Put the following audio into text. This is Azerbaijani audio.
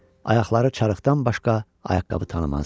Ayaqları çarıqdan başqa ayaqqabı tanımazdı.